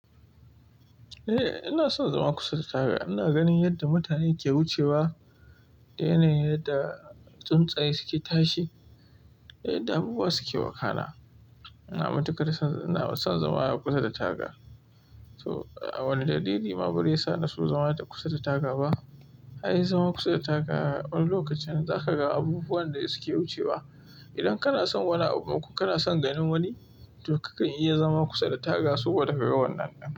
Eh ina son zama kusa da taga. Ina ganin yadda mutane ke wucewa, da yanayin yadda tsuntsaye suke tashi, yadda abubuwa suke wakana. Na matuƙa ina son zama kusa da taga. To a wane dalili ma bazai sa na so zama kusa da taga ba? Anyi zama kusa da taga wani lokacin za ka ga abubuwan da suke wucewa. Idan kana son wani abu ko kana son ganin wani, to kakan iya zama kusa da taga saboda ka ga wannan nan.